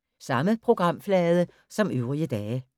Samme programflade som øvrige dage